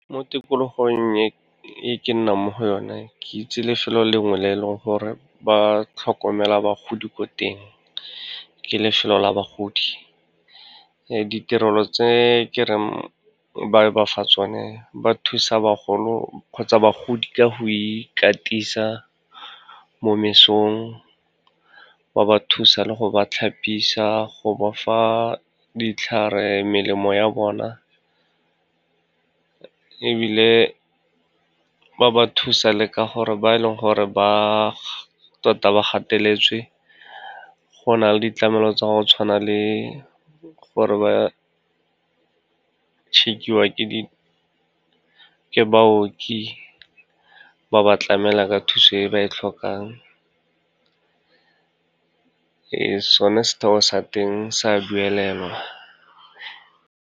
Mo tikologong e ke nnang mo go yone, ke itse lefelo lengwe le leng gore ba tlhokomela bagodi ko teng, ke lefelo la bagodi. Ditirelo tse ke reng ba ba fa tsone, ba thusa bagolo kgotsa bagodi ka go ikatisa mo mesong, ba ba thusa le go ba tlhapisa, go ba fa ditlhare, melemo ya bona ebile ba ba thusa le ka gore ba e leng gore ba tota ba gateletswe, go na le ditlamelo tsa go tshwana le gore ba check-iwa ke baoki, ba ba tlamela ka thuso e ba e tlhokang. Ee, sone setheo sa teng sa duelelwa.